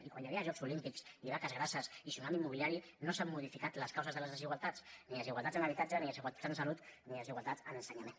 i quan hi havia els jocs olímpics i vaques grasses i tsunami immobiliari no s’han modificat les causes de les desigualtats ni desigualtats en habitatge ni desigualtats en salut ni desigualtats en ensenyament